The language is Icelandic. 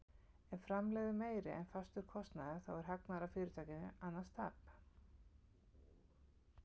Ef framlegð er meiri en fastur kostnaður þá er hagnaður af fyrirtækinu, annars tap.